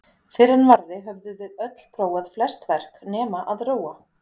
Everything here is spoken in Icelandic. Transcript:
Fyrr en varði höfðum við öll prófað flest verk- nema að róa.